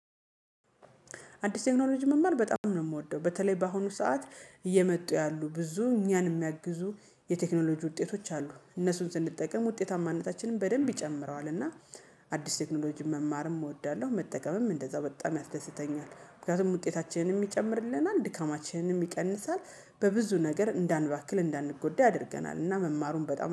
አዲስ ቴክኖሎጂ መማር በጣም ነው የምወደው በተለይ በአሁኑ ሰዓት እየመጡ ያሉ ብዙ እኛን የሚያግዙ የቴክኖሎጂ ውጤቶች አሉ እነሱን ስንጠቀም ውጤታማነታችንን በደንብ ይጨምረዋል። እና አዲስ ቴክኖሎጂ መማርም እወዳለሁ መጠቀምም እንደዛ በጣም ያስደስተኛል። ምክንያቱም ውጤታችንንም ይጨምርልናል ድካማችንንም ይቀንሳል በብዙ ነገር እንዳንባክን እንዳንጎዳ ያደርገናል። እና መማሩን በጣም